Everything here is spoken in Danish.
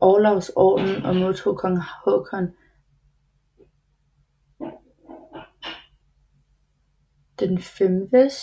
Olavs Orden og modtog Kong Haakon VIIs